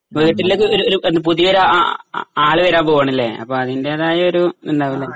വീട്ടിലേക്കൊരു ഒരു ഒരു പുതിയ ഒരാ ആ ആ രാള് വരൻ പോവുകയണല്ല അപ്പൊ അതിന്റേതായൊരു എന്താ പറയുക